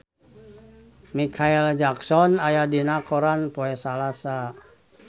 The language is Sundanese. Micheal Jackson aya dina koran poe Salasa